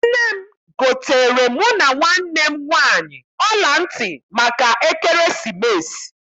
Nne m goteere mụ na nwanne m nwaanyị ọla ntị maka ekeresimesi.